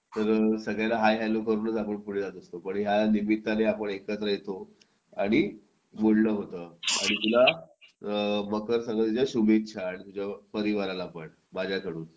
तर सगळ्यांना hi hello करूनच आपण पुढे जात असतो पण यानिमित्ताने आपण एकत्र येतो आणि बोलणं होतं आणि तुला मकर संक्रांतीच्या शुभेच्छा तुझ्या परिवाराला पण माझ्याकडून